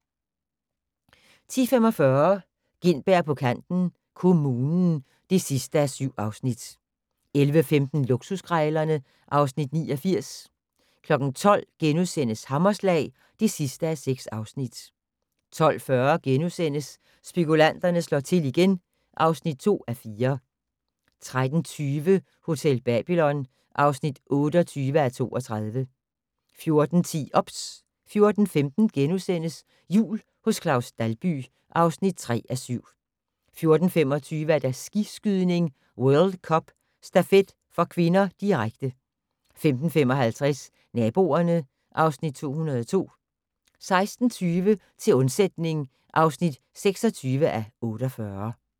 10:45: Gintberg på kanten - Kommunen (7:7) 11:15: Luksuskrejlerne (Afs. 89) 12:00: Hammerslag (6:6)* 12:40: Spekulanterne slår til igen (2:4)* 13:20: Hotel Babylon (28:32) 14:10: OBS 14:15: Jul hos Claus Dalby (3:7)* 14:25: Skiskydning: World Cup - stafet (k), direkte 15:55: Naboerne (Afs. 202) 16:20: Til undsætning (26:48)